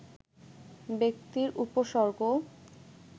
ব্যক্তির উপসর্গ